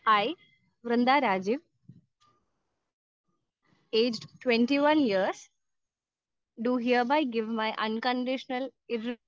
speaker 2 hi Vrinda Rajeev age 21യേർസ്‌ do hereby give my unconditional